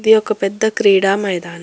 ఇది ఒక పెద్ద క్రీడా మైదానం.